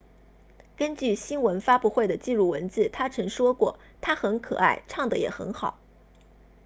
根据新闻发布会的记录文字他曾说过她很可爱唱得也很好